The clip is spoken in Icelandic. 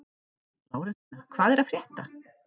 Lárensína, hvað er að frétta?